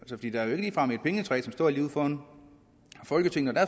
der er ligefrem et pengetræ der står lige ude foran folketinget og